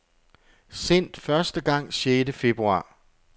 Sendt første gang sjette februar.